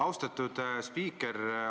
Austatud spiiker!